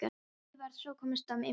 En ég varð að komast að ýmsu.